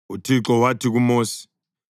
UThixo wathi kuMosi,